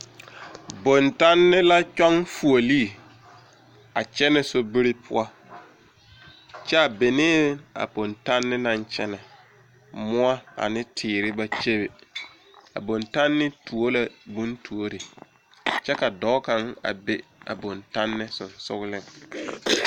Bontanne la kyɔŋ vuolee a kyɛnɛ sobiri poɔ kyɛ a benee a bontanne naŋ kyɛnɛ moɔ ane teere ba kyebe a bontanne tuo la bontuore kyɛ ka dɔɔ kaŋ be a bontanne seŋsogleŋ.